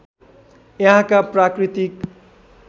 यहाँका प्राकृतिक